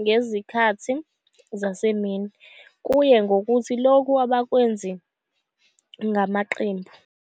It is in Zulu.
ngezikhathi zasemini, kuye ngokuthi lokho abakwenzi ngamaqembu.